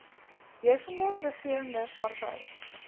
heersende regerende party